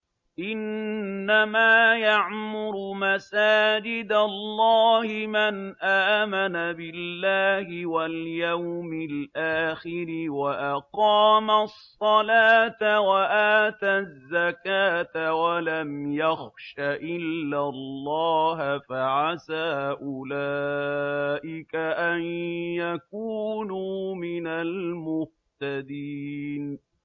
إِنَّمَا يَعْمُرُ مَسَاجِدَ اللَّهِ مَنْ آمَنَ بِاللَّهِ وَالْيَوْمِ الْآخِرِ وَأَقَامَ الصَّلَاةَ وَآتَى الزَّكَاةَ وَلَمْ يَخْشَ إِلَّا اللَّهَ ۖ فَعَسَىٰ أُولَٰئِكَ أَن يَكُونُوا مِنَ الْمُهْتَدِينَ